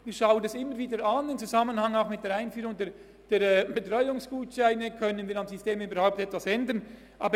Wir prüfen immer wieder – auch im Zusammenhang mit der Einführung der Betreuungsgutscheine –, ob wir am System überhaupt etwas ändern können.